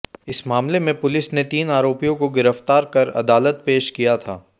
इस मामले में पुलिस ने तीन आरोपियों को गिरफ्तार कर अदालत पेश किया था